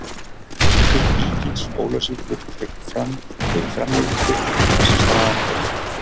Leikur Víkings Ólafsvíkur gegn Fram er í framlengingu þar sem staðan er jöfn.